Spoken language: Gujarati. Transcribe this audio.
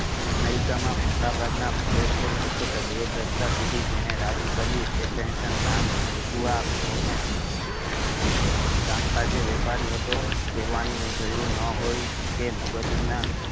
અમેરિકા માં મોટા ભાગ ના પ્રદેશો પર બે દશકો સુધી જેને રાજ કર્યુ એ શહેનશાહ નુ નામ કામ કાજે વ્યાપારી હતો કેહવાની જરૂર ના હોઈ કે મગજ ના